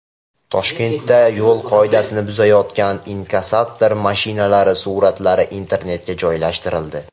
Toshkentda yo‘l qoidasini buzayotgan inkassator mashinalari suratlari internetga joylashtirildi.